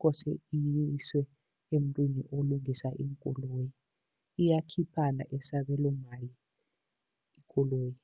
kose iyiswe emntwini olungisa iinkoloyi, iyakhiphana esabelomali ikoloyi.